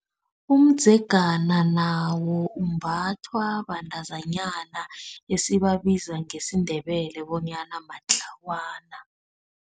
Umdzegana nawo umbathwa bantazinyana esibabizwa ngesiNdebele bonyana matlawana.